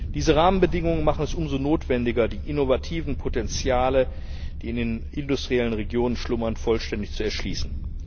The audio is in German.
Diese Rahmenbedingungen machen es umso notwendiger, die innovativen Potenziale, die in den industriellen Regionen schlummern, vollständig zu erschließen.